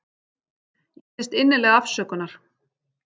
Ég biðst innilega afsökunar.